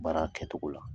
Baara kɛcogo la